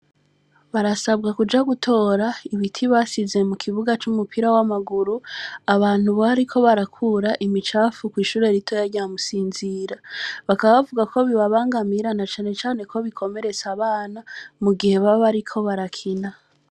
Barasabwa kuja gutora ibiti basize mu kibuga c’umupira w’amaguru, abantu bariko barakura imicafu kw’ishure ritoya rya Musinzira; bakaba bavuga ko bibabangamira, na cane cane ko bikomeretsa abana mu gihe baba bariko barakina.